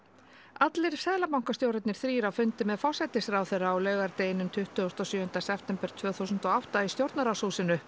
allir seðlabankastjórarnir þrír á fundi með forsætisráðherra á laugardeginum tuttugasta og sjöunda september tvö þúsund og átta í stjórnarráðshúsinu